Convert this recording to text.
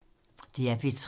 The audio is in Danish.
DR P3